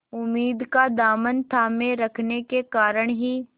उम्मीद का दामन थामे रखने के कारण ही